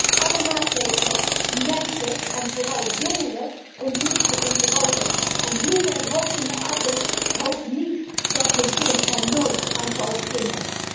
Ik steun alle maatregelen die mensen en vooral jongeren ontmoedigen om te roken. En hoeveel rokende ouders hopen niet dat hun kind er nooit aan zal beginnen?